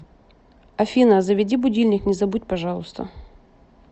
афина заведи будильник не забудь пожалуйста